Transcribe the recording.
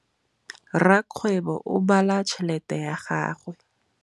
Rakgwêbô o bala tšheletê ya gagwe.